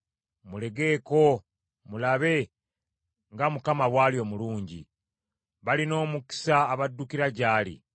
Mulegeeko mulabe nga Mukama bw’ali omulungi! Balina omukisa abaddukira gy’ali.